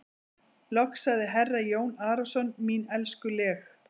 Loks sagði herra Jón Arason:-Mín elskuleg.